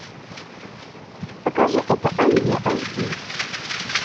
покажи это англия аш ди